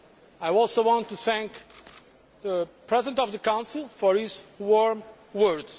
I also want to thank the President of the Council for his warm words.